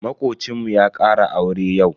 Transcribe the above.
Makocinmu ya ƙara aure yau.